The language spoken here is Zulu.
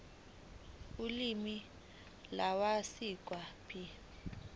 ulimi lwasekhaya p